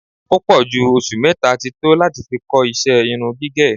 Ó pọ̀ jù oṣù mẹ́ta ti tó láti fi kọ́ ìṣe irun gígẹ̀